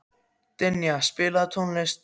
Dynja, spilaðu tónlist.